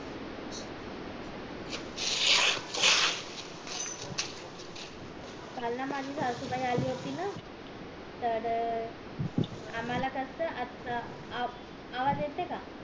काल ना माझी सासूबाई आली होती ना तर आम्हला कस आवाज येते का